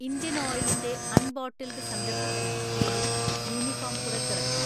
Indian ഓയിലിന്റെ unbottled സംരംഭത്തിന് കീഴിൽ യൂണിഫോം പുറത്തിറക്കി